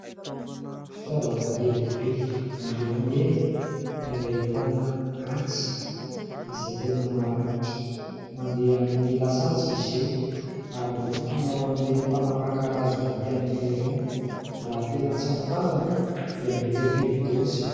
Fitaovana lehibe miloko mena ary ahitana antsy izay tena maranitra mandeha amin'ny lasantsy izy io ary natokana ho an'ireny mpanapaka hazo matianina irony. Raha tena tsy mitandrina dia mety hampidi-doza.